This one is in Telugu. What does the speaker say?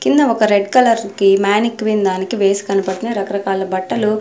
కింద ఒక రెడ్ కలర్ కి మానిక్వీన్ దానికి వేసి కనపడుతున్నాయి రకరకాల బట్టలు --